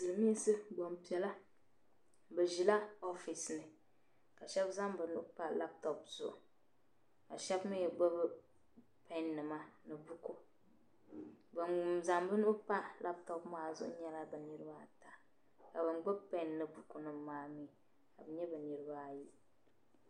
Silimiinsi gban piɛla bi ʒila "office" nila shab zaŋ bi nuu pa "laptop" zuɣu ka shab mi gbubi "pen" nima ni buku ban zaŋ bi nuu pa laptop maa zuɣu nyɛla bi niriba ata ban gbubi pen ni bukunima maa ka bi nya bi niriba ayi.